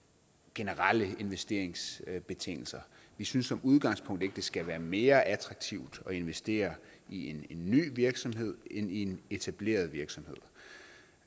generelle investeringsbetingelser vi synes som udgangspunkt ikke det skal være mere attraktivt at investere i en ny virksomhed end i en etableret virksomhed